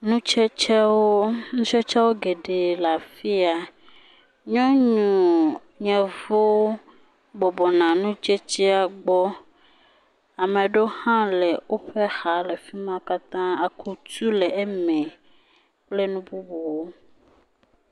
Nutsetsewo, nutsetsewo geɖe le afi ya, nyɔnu yevu bɔbɔ nɔ nutsetsea gbɔ. Ame ɖewo hã le woƒe xa le fi ma katã. Akutu le eme kple nu bubuawo.